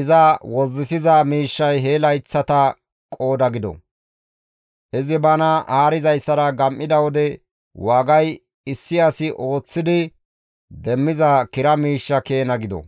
iza wozzisiza miishshay he layththata qooda gido; izi bana haarizayssara gam7ida wode waagay issi asi ooththidi demmiza kira miishsha keena gido.